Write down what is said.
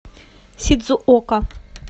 сидзуока